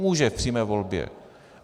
Může v přímé volbě.